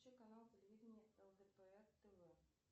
включи канал телевиденья лдпр тв